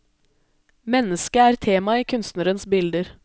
Mennesket er tema i kunstnerens bilder.